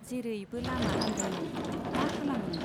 जेरैबो लामा आन्दायनाय , मा खालामनो !